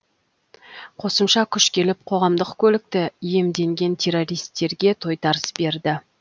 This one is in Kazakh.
қосымша күш келіп қоғамдық көлікті иемденген террористерге тойтарыс берді